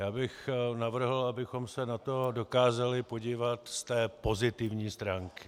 Já bych navrhl, abychom se na to dokázali podívat z té pozitivní stránky.